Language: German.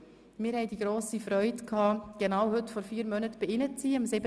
Wir hatten die grosse Freude, genau heute vor 4 Monaten bei Ihnen sein zu dürfen.